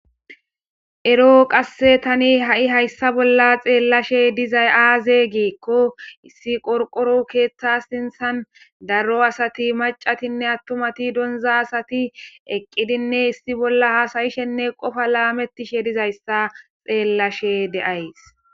Ero qasse tani ha'i hayssa bolla xeellashe dizay aaze geekko issi qorqoro keeththa sinthan darro asati macatinne attumati donza asati eqqidinne issi bolla hasayishenne qofa laametishe dizayssa xeellashe deays.